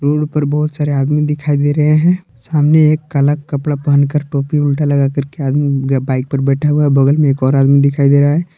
Road पर बहुत सारे आदमी दिखाई दे रहे हैं सामने एक काला कपड़ा पहनकर टोपी उल्टा लगाकर के आदमी बाइक पर बैठा हुआ है बगल में एक और आदमी दिखाई दे रहा है।